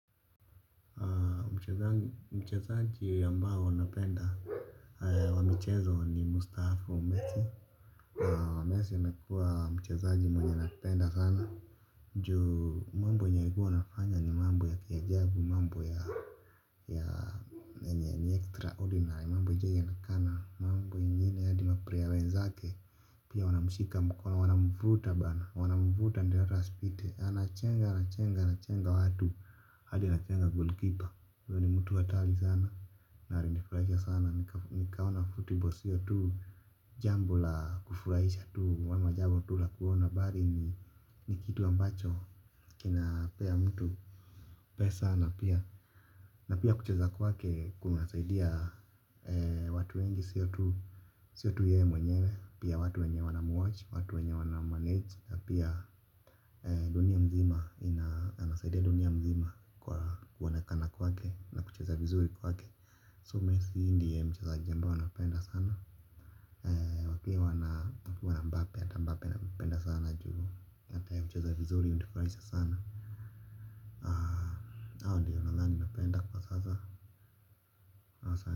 Mchezaji ambao napenda wa michezo ni mstaafu Messi, Messi amekuwa mchezaji mwenye napenda sana. Juu mambo yenye huwa anafanya ni mambo ya kiajabu mambo ya yenye ni extra ordinary mambo haijawahi onekana mambo ingine hadi maplayer wenzake. Pia wanamshika mkono wanamvuta bana wanamvuta ndio hata asipite. Anachenga anachenga anachenga watu hadi anachenga golikipa. Huyo ni mtu hatari sana na alinifurahisha sana. Nikaona futibol sio tu jambo la kufurahisha tu ama jambo tu la kuona bali ni ni kitu ambacho kinapea mtu pesa na pia na pia kucheza kwake kunasaidia watu wengi sio tu sio tu yeye mwenyewe pia watu wenye wanamwatch watu wenye wanammanage pia dunia mzima anasaidia dunia mzima kwa kuonekana kwake na kucheza vizuri kwake. So messi ndiye mchezaji ambaye napenda sana. Wakiwa na Mbape hata Mbappe nampenda sana juu hata yeye hucheza vizuri hunifurahisha sana. Hao ndiyo nadhani napenda kwa sasa.